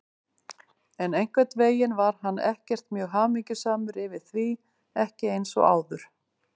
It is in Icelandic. En einhvern veginn var hann ekkert mjög hamingjusamur yfir því, ekki eins og áður.